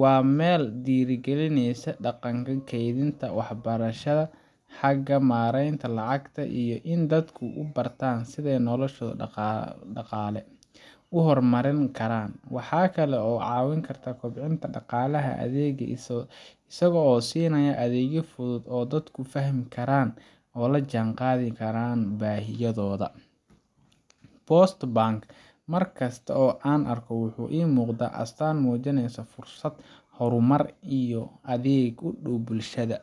Waa meel dhiirrigelisa dhaqanka kaydinta, waxbarashada xagga maaraynta lacagta, iyo in dadku bartaan sida ay noloshooda dhaqaale u horumarin karaan. Waxa kale oo uu caawin karta kobcinta dhaqaalaha deegaanka isaga oo siinaya adeegyo fudud oo dadku fahmi karaan oo la jaanqaadaya baahidooda. Post Bank, markasta oo aan arko, wuxuu ii muuqdaa astaan muujinaysa fursad, horumar, iyo adeeg u dhow bulshada,